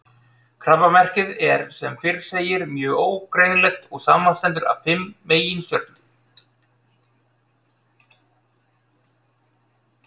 Krabbamerkið er sem fyrr segir mjög ógreinilegt og samanstendur af fimm meginstjörnum.